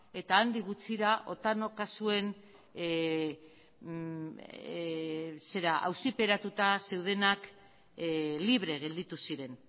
eta handi gutxira otano kasuen auziperatuta zeudenak libre gelditu ziren